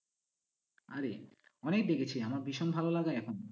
আরে অনেক দেখেছি আমার ভীষণ ভালো লাগে এখন।